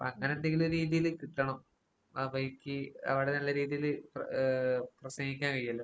അങ്ങനെന്തെങ്കിലും രീതീല് കിട്ടണം. ആ വഴിക്ക് അവടെ നല്ല രീതീല് പ്ര ഏഹ് പ്രസംഗിക്കാൻ കഴിയുവല്ലോ?